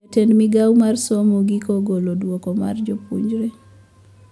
Jatend migao mar somo giko ogolo duoko mar jopuonjre